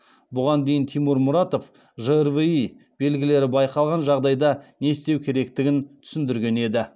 бұған дейін тимур мұратов жрви белгілері байқалған жағдайда не істеу керектігін түсіндірген еді